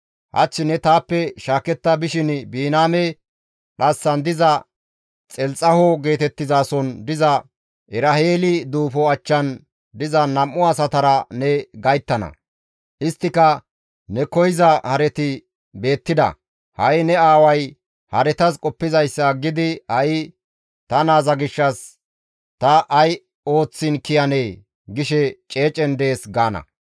Hach ne taappe shaaketta bishin Biniyaame dhassan diza Xelxaho geetettizason diza Eraheeli duufo achchan diza nam7u asatara ne gayttana; isttika, ‹Ne koyza hareti beettida; ha7i ne aaway haretas qoppizayssa aggidi ta naaza gishshas ta ay ooththiin kiyanee? gishe ceecen dees› gaana.